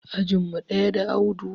Ajin mu ɗaya da Audu